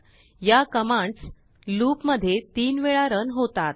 याकमांड्सloopमध्ये 3 वेळा रन होतात